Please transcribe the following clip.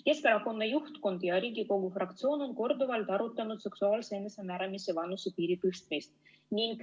Keskerakonna juhtkond ja Riigikogu fraktsioon on korduvalt arutanud seksuaalse enesemääramise vanusepiiri tõstmist.